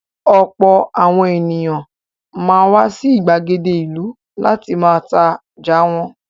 Ọ̀pọ̀ àwọn èèyàn máa ń wá sí ìgbàgede ìlú láti ma tajà wọn